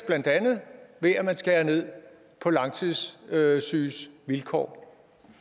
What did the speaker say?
ved at man skærer ned på langtidssyges vilkår